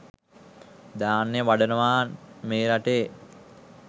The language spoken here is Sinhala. ධ්‍යාන වඩනවා මේ රටේ